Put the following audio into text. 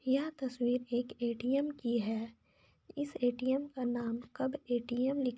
यह तस्वीर एक ए.टी.एम. की है इस ए.टी.ऍम. का नाम कब ए.टी.ऍम. लिख--